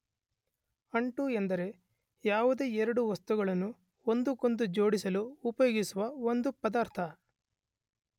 ಅಂಟು ಎಂದರೆ ಯಾವುದೇ ಎರಡು ವಸ್ತುಗಳನ್ನು ಒಂದಕ್ಕೊಂದು ಜೋಡಿಸಲು ಉಪಯೋಗಿಸುವ ಒಂದು ಪದಾರ್ಥ.